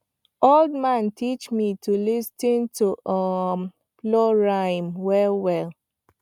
old man teach me to lis ten to um plow rhythm well well